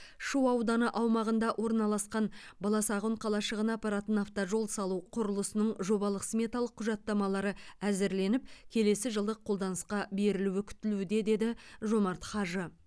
шу ауданы аумағында орналасқан баласағұн қалашығына апаратын автожол салу құрылысының жобалық сметалық құжаттамалары әзірленіп келесі жылы қолданысқа берілуі күтілуде деді жомарт хажы